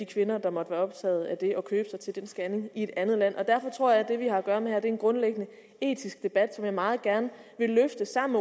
kvinder der måtte være optaget af det i at købe sig til den scanning i et andet land derfor tror jeg at det vi har at gøre med her er en grundlæggende etisk debat som jeg meget gerne vil løfte sammen